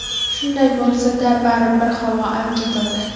Shunday bo‘lsa-da, baribir havo ancha toza.